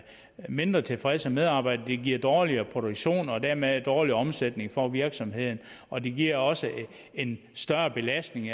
mindre tilfredse medarbejdere det giver dårligere produktion og dermed en dårligere omsætning for virksomheden og det giver også en større belastning